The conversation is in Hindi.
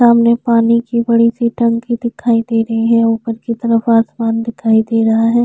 सामने पानी की बड़ी टंकी दिखाई दे रही है। ऊपर की तरफ आसमान दिखाई दे रहा है।